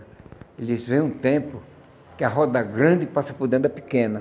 Disse, vem um tempo que a roda grande passa por dentro da pequena.